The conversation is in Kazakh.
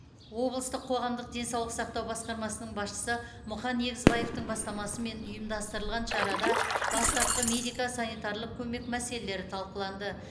облыстық қоғамдық денсаулық сақтау басқармасының басшысы мұқан егізбаевтың бастамасымен ұйымдастырылған шарада бастапқы медико санитарлық көмек мәселелері талқыланды